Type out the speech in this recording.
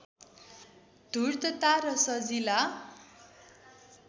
धूर्तता र सजिला